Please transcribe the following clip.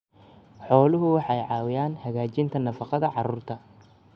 Xooluhu waxay caawiyaan hagaajinta nafaqada carruurta.